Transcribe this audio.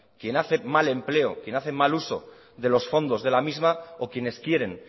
quien hace mal empleo quien hace mal uso de los fondos de la misma o quienes quieren